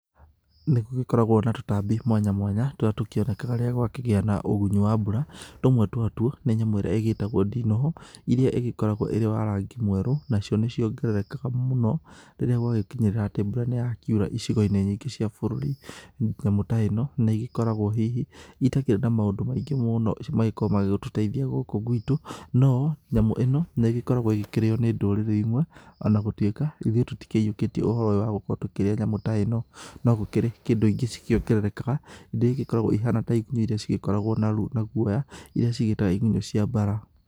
Nĩgũgĩkoragwo na tũtambi mwanya mwanya tũrĩa tũkĩonekaga rĩrĩa gwakĩgĩa na ũgunyu wa mbura. Tũmwe twatuo nĩ nyamũ ĩrĩa ĩgĩtagwo ndinoho, iria ĩgĩkoragwo ĩrĩ wa rangi mwerũ, nacio nĩciongererekaga mũno rĩrĩa gwagĩkinyĩrĩra atĩ mbura nĩyakiura icigoiinĩ nyingĩ cia bũrũri. Nyamu ta ĩno nĩĩgĩkoragwo hihi itakĩrĩ na maũndũ maingĩ mũũno magĩgĩkoragwo magĩgĩtũteithia gũkũ gwitũ. No nyamũ ĩno nĩgĩkoragwo ĩkĩrĩo nĩ ndũrĩrĩ imwe, ona gũtwĩka ithuĩ tũtikĩiyũkĩtie ũhoro ũyũ wa gũkorwo tũkĩrĩa nyamũ ta ĩno. No gũkĩrĩ kĩndũ ingĩ cikiongererekaga, indo iria igĩkoragwo ihana ta igunyũ iria cigĩkoragwo na ru na guoya, iria cigĩĩtaga igunyũ cia mbara